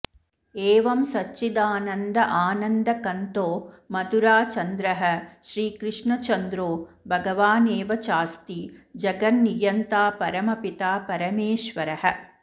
एवं सच्चिदानन्द आनन्दकन्दो मथुराचन्द्रः श्रीकृष्णचन्द्रो भगवानेव चास्ति जगन्नियन्ता परमपिता परमेश्वरः